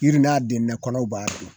Yiri n'a denbɛ kɔnɔw b'a dun